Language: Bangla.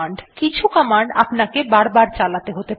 কিছু কমান্ড আপনাকে বারবার চালাতে হতে পারে